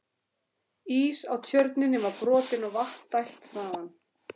Ís á Tjörninni var brotinn og vatni dælt þaðan.